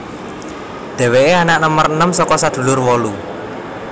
Dheweke anak nomer enem saka sedulur wolu